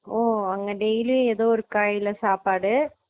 ஓ அங்க daily ஏதோ ஒரு காய்ல சாப்பாடு